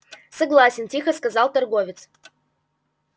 согласен тихо сказал торговец